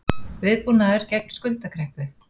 Viðbúnaður gegn skuldakreppu